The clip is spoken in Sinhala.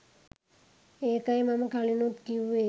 ඒකයි මම කලිනුත් කිව්වේ